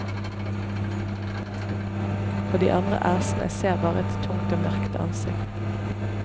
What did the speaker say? Og de andre æsene ser bare et tungt og mørkt ansikt.